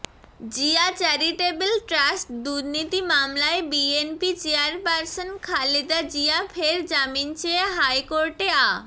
Zia charitable trust দুর্নীতি মামলায় BNP chairperson Khaleda Zia ফের জামিন চেয়ে হাইকোর্টে আ